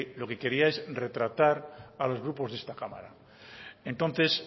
lo que quería es retratar a los grupos de esta cámara entonces